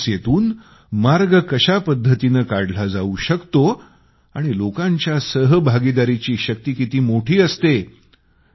या समस्येतून मार्ग कशा पद्धतीने काढला जाऊ शकतो आणि लोकांच्या सहभागाची शक्ती किती मोठी असते